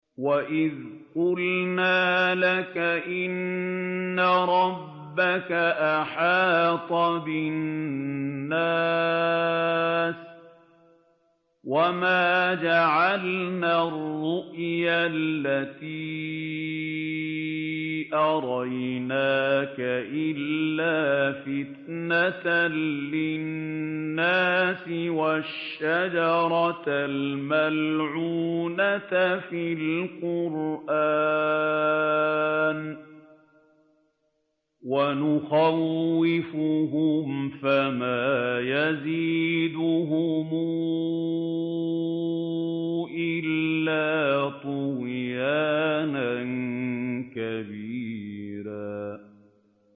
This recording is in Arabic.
وَإِذْ قُلْنَا لَكَ إِنَّ رَبَّكَ أَحَاطَ بِالنَّاسِ ۚ وَمَا جَعَلْنَا الرُّؤْيَا الَّتِي أَرَيْنَاكَ إِلَّا فِتْنَةً لِّلنَّاسِ وَالشَّجَرَةَ الْمَلْعُونَةَ فِي الْقُرْآنِ ۚ وَنُخَوِّفُهُمْ فَمَا يَزِيدُهُمْ إِلَّا طُغْيَانًا كَبِيرًا